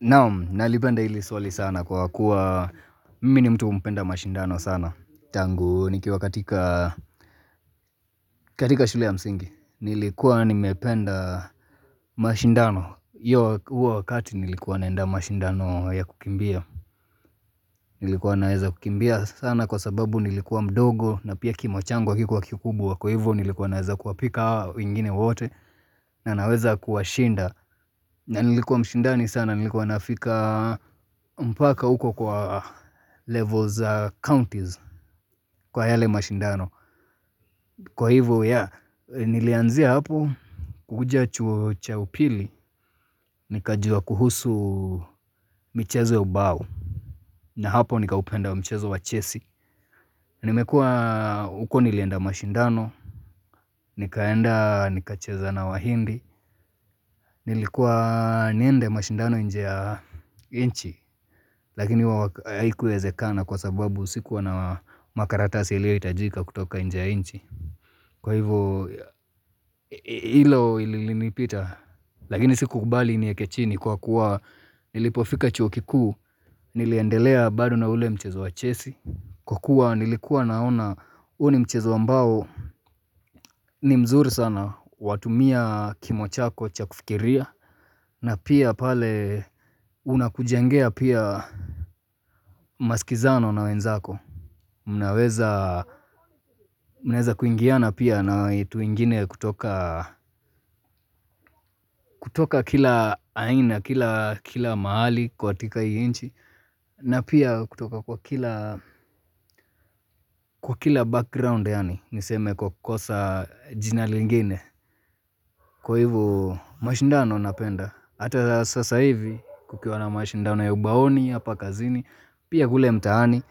Naam, nalipenda hili swali sana kwa kuwa mimi ni mtu mpenda mashindano sana. Tangu nikiwa katika katika shule ya msingi. Nilikuwa nimependa mashindano hiyo huo wakati nilikuwa naenda mashindano ya kukimbia. Nilikuwa naweza kukimbia sana kwa sababu nilikuwa mdogo na pia kimo chango hakikuwa kikubwa kwa hivyo nilikuwa naweza kuwapika hawa wengine wote. Na naweza kuwa shinda. Na nilikuwa mshindani sana nilikuwa nafika mpaka uko kwa levels za counties kwa yale mshindano. Kwa hivyo yeah nilianzia hapo kukuja chuo cha upili nikajua kuhusu michezo ya bao. Na hapo nikaupenda mchezo wa chesi. Nimekuwa huko nilienda mashindano nikaenda nikacheza na wahindi. Nilikuwa niende mashindano nje ya nchi. Lakini haikuwezekana kwa sababu sikuwa na makaratasi iliyohitajika kutoka nje ya nchi. Kwa hivyo hilo ilinipita. Lakini sikukubali iniweke chini kwa kuwa nilipofika chuo kikuu. Niliendelea bado na ule mchezo wa chesi. Kwa kuwa nilikuwa naona huo ni mchezo ambao mzuri sana watumia kimo chako cha kufikiria. Na pia pale unakujangea pia maskizano na wenzako. Mnaweza kuingiana pia na tuingine kutoka kutoka kila aina, kila mahali katika hii nchi. Na pia kutoka kwa kila background yaani niseme kwa kosa jina lingine. Kwa hivu mashindano napenda. Hata sasa hivi kukiwa na mashindano ya ubaoni hapa kazini. Pia kule mtaani,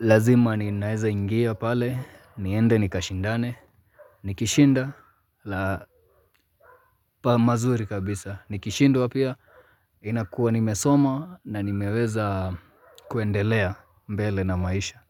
lazima ninaeza ingia pale, niende nikashindane, nikishinda, la pa mazuri kabisa. Nikishindwa pia, inakuwa nimesoma na nimeweza kuendelea mbele na maisha.